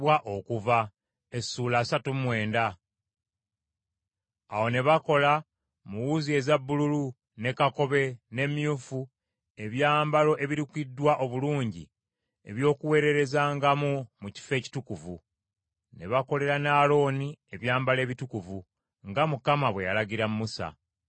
Awo ne bakola, mu wuzi eza bbululu; ne kakobe ne myufu, ebyambalo ebirukiddwa obulungi eby’okuweererezangamu mu Kifo Ekitukuvu. Ne bakolera ne Alooni ebyambalo ebitukuvu, nga Mukama bwe yalagira Musa.